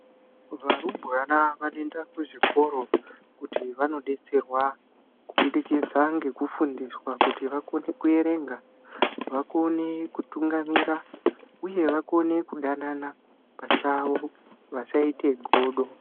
Varumbwana vanoenda kuzvikoro kuti vanodetserwa kubudikidza ngekufundiswa kuti vakone kuerenga, vakone kutungamira uye vakone kudanana pachavo vasaite godo.